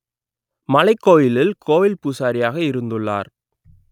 மலைக்கோவிலில் கோவில் பூசாரியாக இருந்துள்ளார்